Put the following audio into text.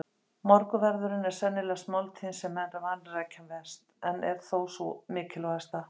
Morgunverðurinn er sennilegast máltíðin sem menn vanrækja mest en er þó sú mikilvægasta.